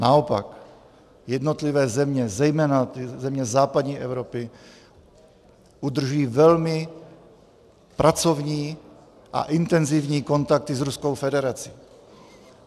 Naopak, jednotlivé země, zejména země západní Evropy, udržují velmi pracovní a intenzivní kontakty s Ruskou federací.